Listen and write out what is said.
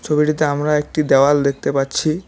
ছবিটিতে আমরা একটি দেওয়াল দেখতে পাচ্ছি।